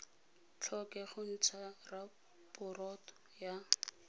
tlhoke go ntsha raporoto ya